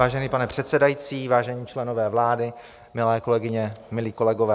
Vážený pane předsedající, vážení členové vlády, milé kolegyně, milí kolegové.